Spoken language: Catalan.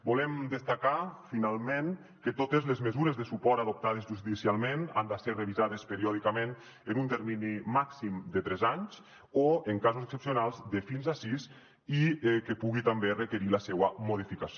volem destacar finalment que totes les mesures de suport adoptades judicialment han de ser revisades periòdicament en un termini màxim de tres anys o en casos excepcionals de fins a sis i que es pugui també requerir la seua modificació